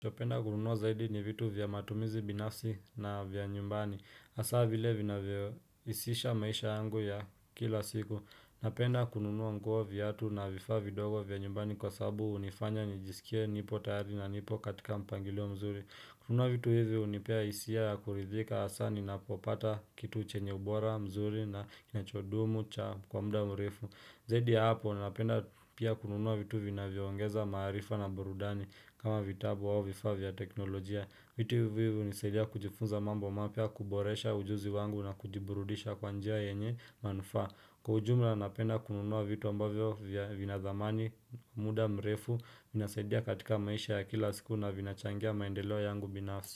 Napenda kununuwa zaidi ni vitu vya matumizi binafsi na vya nyumbani. Hasa vile vinavyoisisha maisha yangu ya kila siku. Napenda kununua nguo, viatu na vifaa vidogo vya nyumbani kwa sababu hunifanya nijisikie nipo tayari na nipo katika mpangilio mzuri kununua vitu hivi unipea hisia ya kuridhika hasaa ninapopata kitu chenye ubora mzuri na inachodumu cha kwa muda mrefu. Zaidi ya hapo, ninapenda pia kununua vitu vinavyongeza maarifa na burudani kama vitabu au vifaa vya teknolojia. Vitu vivu hunisaidia kujifunza mambo mapya, kuboresha ujuzi wangu na kujiburudisha kwa njia yenye manufaa. Kwa ujumla, napenda kununua vitu ambavyo vya vina dhamani, muda mrefu, inasaidia katika maisha ya kila siku na vina changia maendeleo yangu binafsi.